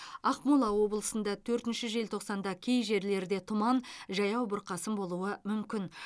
ақмола облысында төртінші желтоқсанда кей жерлерде тұман жаяу бұрқасын болуы мүмкін